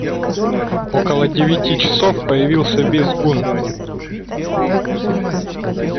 около девяти часов появился визгун